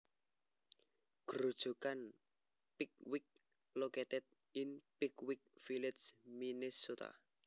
Grojogan Pickwick located in Pickwick Village Minnesota